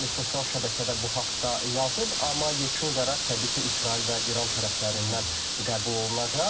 Bəli, sosial şəbəkədə bu haqda yazıb, amma yekun qərar təbii ki, İsrail və İran tərəflərindən qəbul olunacaq.